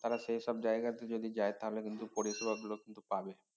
তারা সে সব জায়গাতে যদি যায় তাহলে কিন্তু পরিসেবা গুলো কিন্তু পাবে